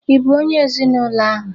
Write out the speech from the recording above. Ị bụ onye ezinụlọ ahụ?